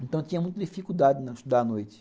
Então, eu tinha muita dificuldade em estudar à noite.